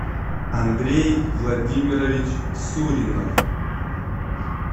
андрей владимирович суринов